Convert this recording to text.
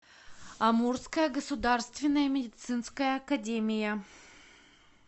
амурская государственная медицинская академия